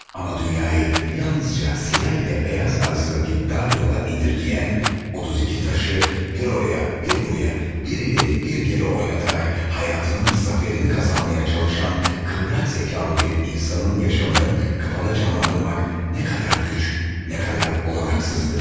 Amma dünyayı yalnızca siyah ilə beyaz arasındaki dar yola indirgeyen, 32 taşı bir oraya, bir buraya, birileri bir geri oynatarak hayatının zaferini kazanmaya çalışan kıvrak zekalı bir insanın yaşamını kafada canlandırmak nə kadar güç, nə kadar olanaksızdı.